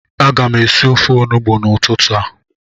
Aga m esi ofe Onugbu n'ụtụtụ a